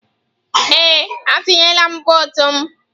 Ee, atunyela m vọọtụ m.